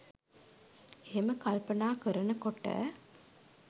එහෙම කල්පනා කරනකොට